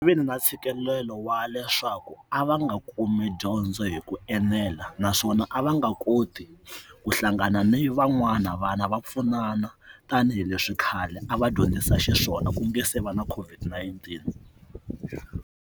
Vi na ntshikelelo wa leswaku a va nga kumi dyondzo hi ku enela naswona a va nga koti ku hlangana ni van'wana vana va pfunana tanihileswi khale a va dyondzisa xiswona kumbe se va na COVID-19.